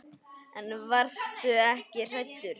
En varstu ekki hræddur?